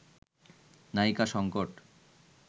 নায়িকা সংকট